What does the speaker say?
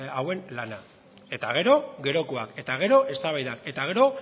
hauen lana eta gero gerokoak eta gero eztabaidak eta gero